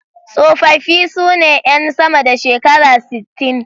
Tsofaffi su ne 'yan sama da shekara sittin.